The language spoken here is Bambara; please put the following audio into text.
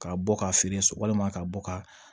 Ka bɔ ka feere walima ka bɔ ka